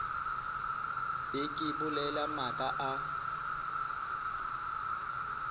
be ke bolela maaka a